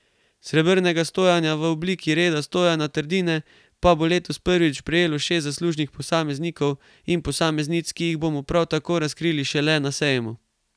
Srebrnega stojana v obliki Reda Stojana Trdine pa bo letos prvič prejelo šest zaslužnih posameznikov in posameznic, ki jih bomo prav tako razkrili šele na sejmu.